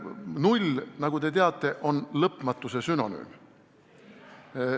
Null, nagu te teate, on lõpmatuse sünonüüm.